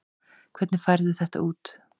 Hvernig færðu þetta út?